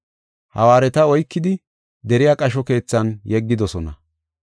Hawaareta oykidi deriya qasho keethan yeggidosona.